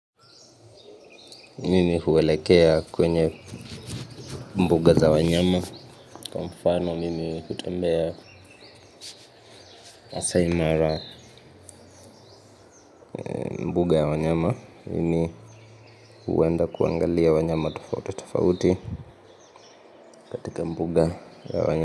Mimi huelekea kwenye mbuga za wanyama, kwa mfano mimi hutembea Masai Mara. Mbuga ya wanyama, mimi huenda kuangalia wanyama tofautitofauti, katika mbuga ya wanya.